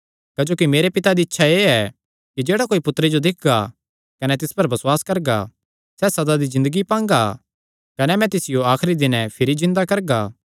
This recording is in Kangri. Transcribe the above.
क्जोकि मेरे पिता दी इच्छा एह़ ऐ कि जेह्ड़ा कोई पुत्तरे जो दिक्खगा कने तिस पर बसुआस करगा सैह़ सदा दी ज़िन्दगी पांगा कने मैं तिसियो आखरी दिनैं भिरी जिन्दा करगा